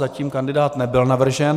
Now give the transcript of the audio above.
Zatím kandidát nebyl navržen.